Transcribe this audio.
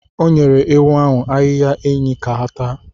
O nyere ewu ahụ ahịhịa enyí ka ha taa.